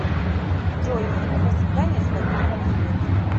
джой фильм про свидания с владимиром зеленским